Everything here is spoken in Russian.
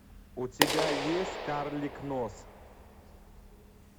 у тебя есть карлик нос